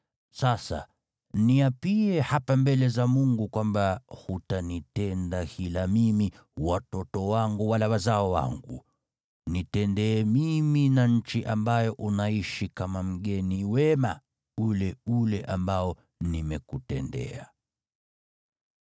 Sasa niapie hapa mbele za Mungu kwamba hutanitenda hila mimi, watoto wangu wala wazao wangu. Nitendee mimi na nchi ambayo unaishi kama mgeni wema ule ule ambao nimekutendea.”